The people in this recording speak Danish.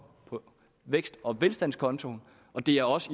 på vækst og velstandskontoen og det er også